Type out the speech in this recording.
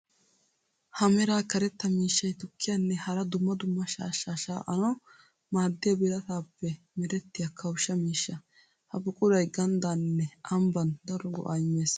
Ha mera karetta miishshay tukkiyanne hara dumma dumma shaashsha shaa'annawu maadiya biratappe merettiya kawusha miishsha. Ha buquray ganddaninne ambban daro go'a imees.